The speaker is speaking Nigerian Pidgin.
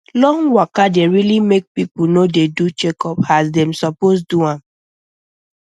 long waka dey really make people no dey do checkup as dem suppose do am